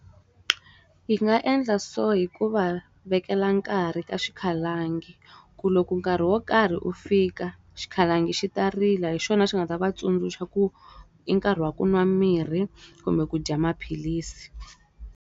Hi nga endla so hi ku va vekela nkarhi ka xikhalangi, ku loko nkarhi wo karhi u fika, xikhalangi xi ta rila. Hi xona xi nga ta va tsundzuxa ku i nkarhi wa ku nwa mirhi kumbe ku dya maphilisi.